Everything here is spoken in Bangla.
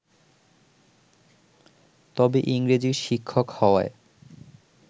তবে ইংরেজির শিক্ষক হওয়ায়